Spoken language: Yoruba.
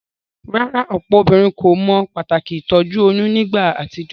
Rárá, òpò obínrin kò mo pàtàkì ìtójú oyún nígba àtijó?